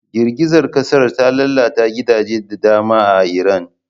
Girgizar kasar ta lalata gidaje da dama a Iran.